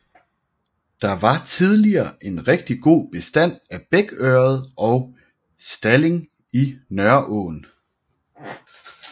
Der var tidligere en rigtig god bestand af bækørred og stalling i Nørreåen